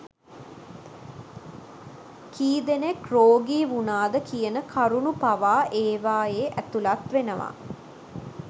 කී දෙනෙක් රෝගී වුණාද කියන කරුණු පවා ඒවායේ ඇතුළත් වෙනවා.